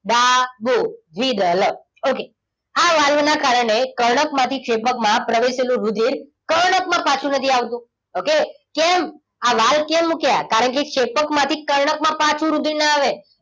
ડા બુ આ વાલના કારણે કર્ણક માંથી ક્ષેપકમાં પ્રવેશેલુ રુધિર કર્ણકમાં પાછું નથી આવતું. okay કેમ? આ વાલ કેમ મૂક્યા? કારણકે ક્ષેપકમાંથી કર્ણકમાં પાછું રુધિર ન આવે.